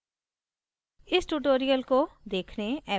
I I T Bombay से मैं श्रुति आर्य अब आपसे विदा लेती हूँ